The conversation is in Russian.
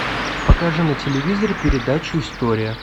покажи на телевизоре передачу история